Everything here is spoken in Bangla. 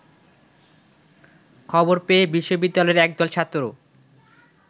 খবর পেয়ে বিশ্ববিদ্যালয়ের একদল ছাত্র